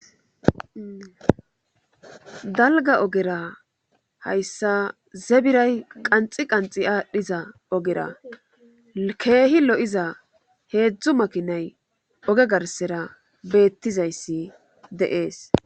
Dalga ogera hayssa zebiray qanxi qanxi aadhdhiza ogera keehi lo7iza heedzdzu makinay oge garsera beettizayssi deees